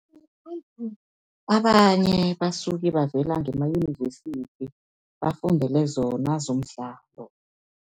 Abanye basuke bavela ngemayunivesithi bafundele zona zomdlalo.